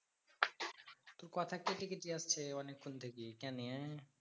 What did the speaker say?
তোর কথা কেটে কেটে আসছে অনেকক্ষণ থেকে কানে